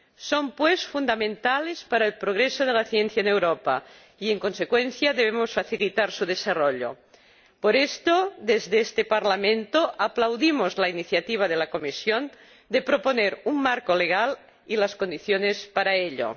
Son, pues, fundamentales para el progreso de la ciencia en Europa y, en consecuencia, debemos facilitar su desarrollo. Por esto, desde este Parlamento, aplaudimos la iniciativa de la Comisión de proponer un marco jurídico y las condiciones para ello.